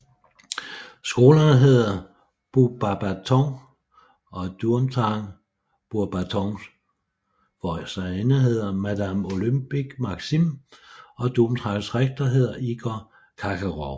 Skolerne hedder Beauxbatons og Durmstrang Beauxbatons forstanderinde hedder Madame Olympe Maxime og Durmstrangs rektor hedder Igor Kakaroff